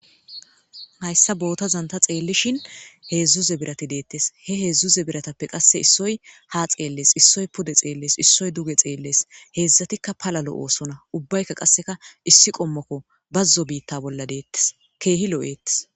hayssa bootazanta xeellishin heedzdzuze birati deettes he heedzdzuze biratappe qasse issoy ha xeellees issoy pude xeellees issoy duge xeellees heedzdzatikka palalo oosona ubbaykka qasseka issi qommokko bazzo biitta bolla deettes keehi lo7eettes